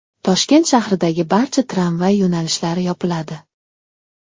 Toshkent shahridagi barcha tramvay yo‘nalishlari yopiladi .